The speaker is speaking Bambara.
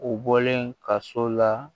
U bɔlen ka so la